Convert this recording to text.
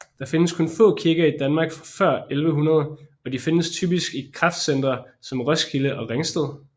Der findes kun få kirker i Danmark fra før 1100 og de findes typisk i kraftcentre som Roskilde og Ringsted